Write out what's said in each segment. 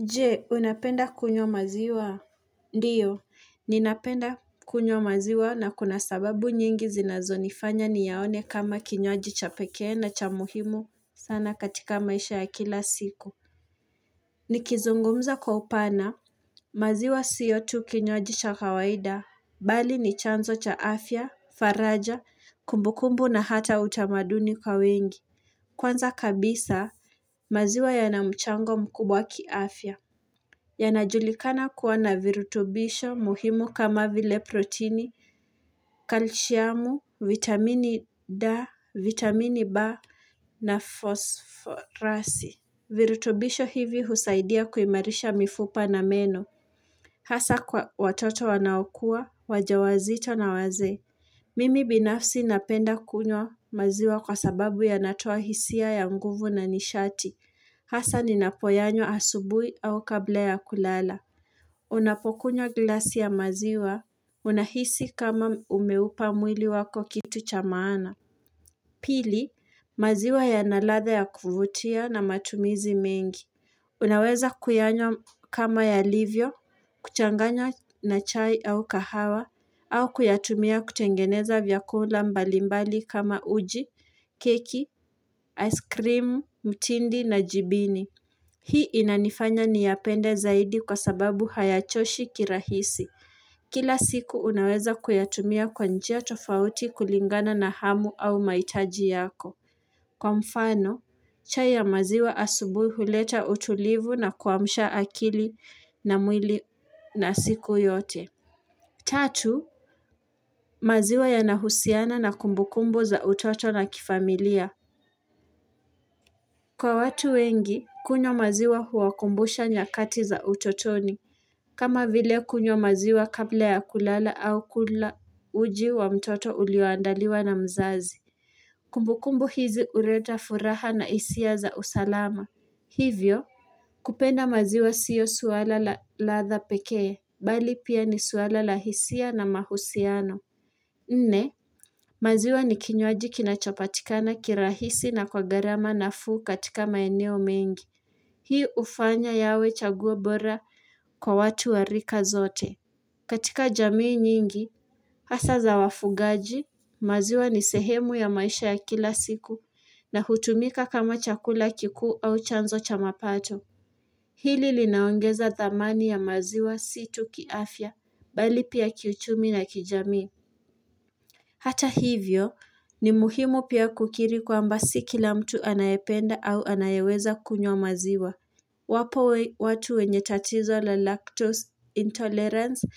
Jee, unapenda kunywa maziwa? Ndiyo, ninapenda kunywa maziwa na kuna sababu nyingi zinazo nifanya ni yaone kama kinywaji chapekee na cha muhimu sana katika maisha ya kila siku. Nikizungumza kwa upana, maziwa siyotu kinywaji cha kawaida. Bali ni chanzo cha afya, faraja, kumbukumbu na hata utamaduni kwa wengi. Kwanza kabisa, maziwa yanamchango mkubwa ki afya. Yanajulikana kuwa na virutubisho muhimu kama vile protini, kalshiamu, vitamini da, vitamini ba, na fosforasi. Virutubisho hivi husaidia kuimarisha mifupa na meno. Hasa kwa watoto wanaokua, wajawazito na wazee. Mimi binafsi napenda kunywa maziwa kwa sababu ya natoa hisia ya mguvu na nishati. Hasa ni napoyanyo asubuhi au kabla ya kulala. Unapokunywa glasi ya maziwa, unahisi kama umeupa mwili wako kitu cha maana. Pili, maziwa ya naladha ya kuvutia na matumizi mengi. Unaweza kuyanywa kama yalivyo, kuchanganya na chai au kahawa, au kuyatumia kutengeneza vyakula mbalimbali kama uji, keki, ice cream, mtindi na jibini. Hii inanifanya niyapende zaidi kwa sababu hayachoshi kirahisi. Kila siku unaweza kuyatumia kwanjia tofauti kulingana na hamu au mahitaji yako. Kwa mfano, chai ya maziwa asubui huleta utulivu na kuamsha akili na mwili na siku yote. Tatu, maziwa ya nahusiana na kumbukumbu za utoto na kifamilia Kwa watu wengi, kunywa maziwa huwakumbusha nyakati za utotoni kama vile kunyo maziwa kabla ya kulala au kula uji wa mtoto ulioandaliwa na mzazi Kumbukumbu hizi uleta furaha na hisia za usalama Hivyo, kupenda maziwa siyo swala la ladha pekee, bali pia ni swala la hisia na mahusiano Nne maziwa ni kinywaji kinachopatikana kirahisi na kwa gharama nafuu katika maeneo mengi. Hii ufanya yawe chaguo bora kwa watu warika zote. Katika jamii nyingi, hasa za wafugaji, maziwa ni sehemu ya maisha ya kila siku na hutumika kama chakula kikuu au chanzo chamapato. Hili li naongeza dhamani ya maziwa si tuki afya, bali pia kiuchumi na kijamii. Hata hivyo ni muhimu pia kukiri kwamba si kila mtu anayependa au anayeweza kunywa maziwa. Wapo watu wenye tatizo la lactose intolerance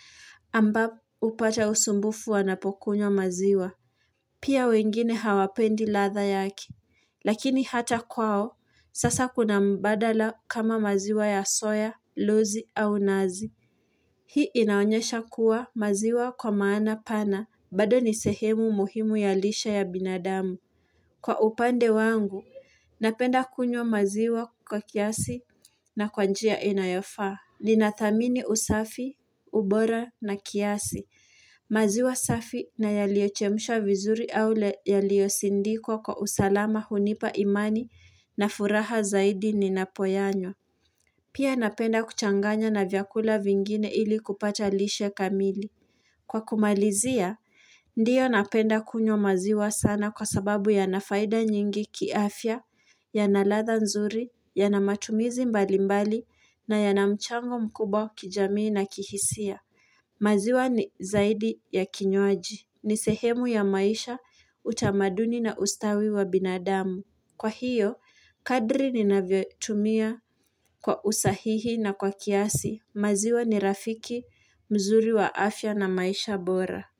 ambao hupata usumbufu wanapokunywa maziwa. Pia wengine hawapendi ladha yake. Lakini hata kwao, sasa kuna mbadala kama maziwa ya soya, luzi au nazi. Hii inaonyesha kuwa maziwa kwa maana pana, bado nisehemu muhimu ya lisha ya binadamu. Kwa upande wangu, napenda kunywa maziwa kwa kiasi na kwanjia inayofa. Ninathamini usafi, ubora na kiasi. Maziwa safi na yaliochemsha vizuri au yalio sindikwa kwa usalama hunipa imani na furaha zaidi ninapoyanyo. Pia napenda kuchanganya na vyakula vingine ili kupata lishe kamili. Kwa kumalizia, ndiyo napenda kunywa maziwa sana kwa sababu ya nafaida nyingi kiafia, ya na ladha nzuri, ya na matumizi mbali mbali na yana mchango mkubwa kijamii na kihisia. Maziwa ni zaidi ya kinywaji. Ni sehemu ya maisha, utamaduni na ustawi wa binadamu. Kwa hiyo, kadri ni navyotumia kwa usahihi na kwa kiasi. Maziwa ni rafiki, mzuri wa afya na maisha bora.